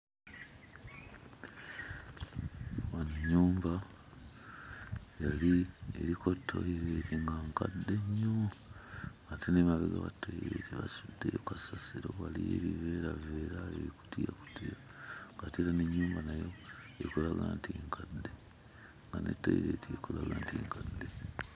Wano ennyumba yali ng'eriko toyireeti nga nkadde nnyo ate n'emabega wa toyireeti basuddeyo kasasiro, waliyo ebiveeraveera, ebikutiyakutiya ng'ate era n'ennyumba nayo ekulaga nti nkadde nga ne toyireeti ekulaga nti nkadde.